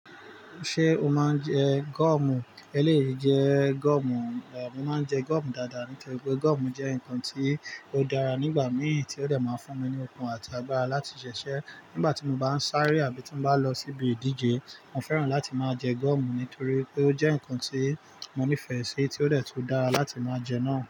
Ṣé o máa ń jẹ gọọ̀mù? E léè yi jẹ gọọ̀mù. Mo máa ń jẹ gọọ̀mù dáadáa nítorí pé gọọ̀mù jẹ́ nǹkan tí ó dára nígbà mìí tí ó dè máa fún mi ní okun àti agbára láti ṣiṣẹ́. Nígbà tí mo bá ń sáré àbí tí bá lọ ṣíbì ìdíje, mo fẹ́ràn láti máa jẹ gọọ̀mù nítorí pé ó jẹ́ nǹkan tí mo nífẹ̀ẹ́ sí tí ó dẹ tú dára láti máa jẹ náà.